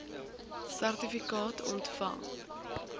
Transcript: sertifikaat ontvang